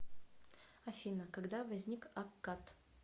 афина когда возник аккад